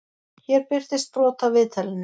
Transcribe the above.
Hér birtist brot af viðtalinu.